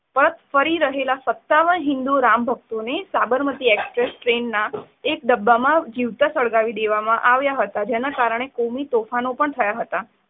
પરત ફરી રહેલા સતાવન હિન્દુ રામ ભક્તોને સાબરમતી એક્સપ્રેસ ટ્રેનનાં એક ડબ્બામાં જીવતા સળગાવી દેવામાં આવ્યા હતા. જેના કારણે કોમી તોફાનો પણ થયા હતા.